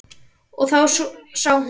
Og þá sá hún mig.